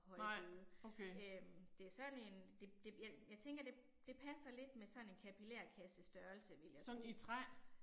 Højbede, øh. Det er sådan en det det jeg jeg tænker det det passer lidt med sådan en kapilærkassestørrelse vil jeg tro